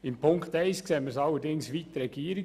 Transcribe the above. In Punkt 1 sehen wir es allerdings wie die Regierung.